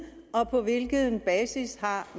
og på hvilken basis har